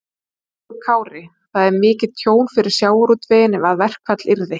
Höskuldur Kári: Það er mikið tjón fyrir sjávarútveginn ef að verkfall yrði?